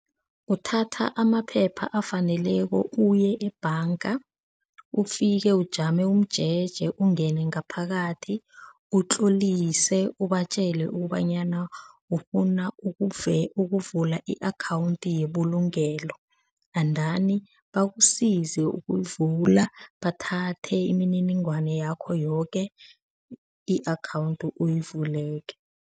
Uthatha amaphepha afaneleko uye ebhanga, ufike ujame umjeje ungene ngaphakathi, utlolise, ubatjele ukobanyana ufuna ukuvula i-akhawundi yebulungelo, endani bakusize ukuyivula bathathe imininingwana yakho yoke, i-akhawundi uyivule-ke.